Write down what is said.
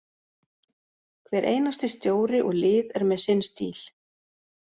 Hver einasti stjóri og lið er með sinn stíl.